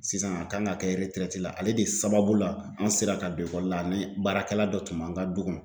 Sisan a kan ka kɛ la ale de sababu la an sera ka don ekɔli la ani baarakɛla dɔ tun b'an ka du kɔnɔ.